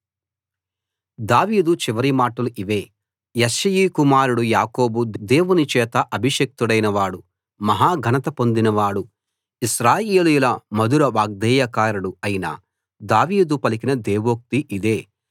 దావీదు చివరి మాటలు ఇవే యెష్షయి కుమారుడు యాకోబు దేవుని చేత అభిషిక్తుడైన వాడు మహా ఘనత పొందినవాడు ఇశ్రాయేలీయుల మధుర వాగ్గేయకారుడు అయిన దావీదు పలికిన దేవోక్తి ఇదే